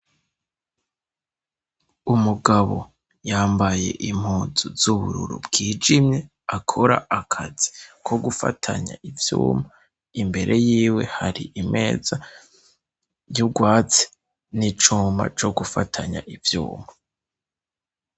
Umugabo yambaye impuzu z'ubururu bwijimye, akora akazi kogufatanya ivyuma, imbere yiwe hari Imeza y'urwatsi n'icuma co gufatanya ivyuma.